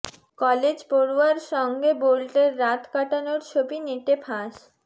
college পড়ুয়ার সঙ্গে বোল্টের রাত কাটানোর ছবি নেটে ফাঁস